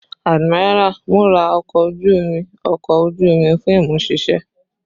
Admiral, mura ọkọ oju-omi ọkọ oju omi fun imuṣiṣẹ